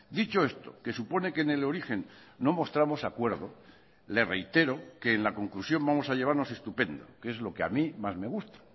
dicho esto que supone que en el origen no mostramos de acuerdo le reitero que en la conclusión vamos a llevarnos estupendo que es lo que a mí más me gusta